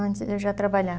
Antes eu já